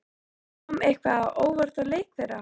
En kom eitthvað á óvart í leik þeirra?